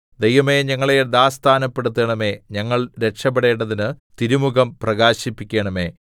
ദൈവമേ ഞങ്ങളെ യഥാസ്ഥാനപ്പെടുത്തണമേ ഞങ്ങൾ രക്ഷപ്പെടേണ്ടതിന് തിരുമുഖം പ്രകാശിപ്പിക്കണമേ